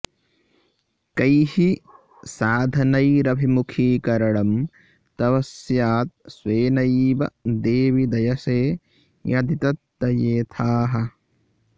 कैः साधनैरभिमुखीकरणं तव स्यात् स्वेनैव देवि दयसे यदि तद्दयेथाः